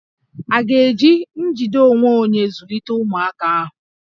À ga-eji njide onwe onye zụlite ụmụaka ahụ?